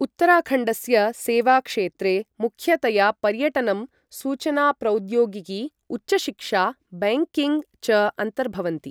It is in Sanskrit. उत्तराखण्डस्य सेवाक्षेत्रे मुख्यतया पर्यटनं, सूचना प्रौद्योगिकी, उच्चशिक्षा, बैंकिंग् च अन्तर्भवन्ति।